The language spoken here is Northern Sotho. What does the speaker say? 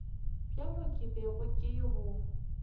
bjo ke bego ke bo